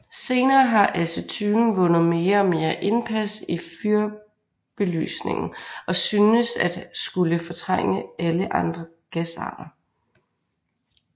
Senere har acetylen vundet mere og mere indpas i fyrbelysningen og synes at skulle fortrænge alle andre gasarter